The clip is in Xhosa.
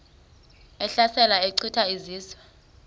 ehlasela echitha izizwe